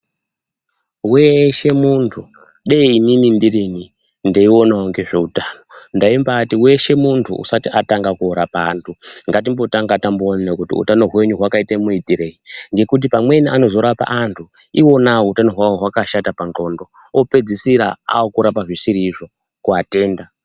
Weshe muntu kudei inini ndirini ndeionawo ngezve utano ndaimbaati weshe muntu usati atanga korapa antu ngatimbotanga tamboonana kuti utano hwenyu hwakaita muitirei ngekuti pamweni anozorapa antu iwona utano hwawo hwakashata pandxondo opedzisira akurapa zvisiri izvo kuatenda.